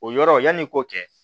O yɔrɔ yanni i k'o kɛ